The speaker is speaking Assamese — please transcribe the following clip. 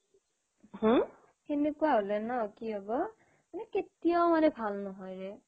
সেনেকুৱা হলে মানে কি হ'ব মানে কেতিয়াও মানে ভাল নহয় ৰে